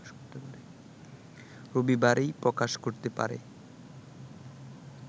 রবিবারই প্রকাশ করতে পারে